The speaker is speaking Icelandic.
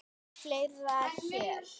Flytja héðan.